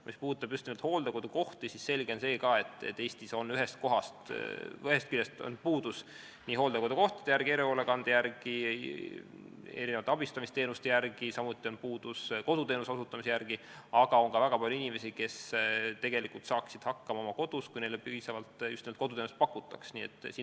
Mis puudutab just nimelt hooldekodukohti, siis selge on see, et Eestis on ühest küljest puudus hooldekodukohtadest, erihoolekandest, erinevatest abistamisteenustest, samuti on puudus koduteenuse osutamisest, aga on ka väga palju inimesi, kes tegelikult saaksid oma kodus hakkama, kui neile piisavalt just nimelt koduteenust pakutaks.